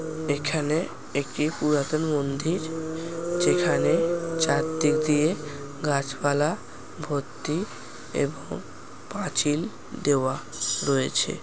এখানে একটি পুরাতন মন্দির যেখানে চারদিক দিয়ে গাছপালা ভর্তি এবং পাঁচিল দেওয়া রয়েছে।